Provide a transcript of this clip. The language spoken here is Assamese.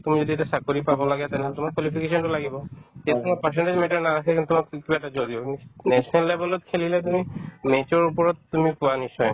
তুমি যদি এটা চাকৰি পাব লাগে তেনেহ'লে তোমাৰ qualification তো লাগিব তেওঁ তোমাৰ percentage matter নাৰাখে কিন্তু কিবা এটা national level ত খেলিলে তুমি match ৰ ওপৰত তুমি পোৱা নিশ্চয়